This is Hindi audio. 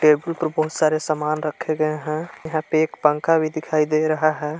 टेबुल पे बहुत सारे सामान रखे गए हैं यहां पे एक पंखा भी दिखाई दे रहा है।